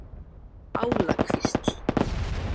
Álakvísl